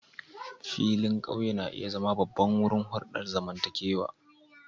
Filin ƙauye na iya zama babban wurin hulɗar zamantakewa